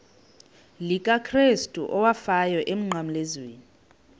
likakrestu owafayo emnqamlezweni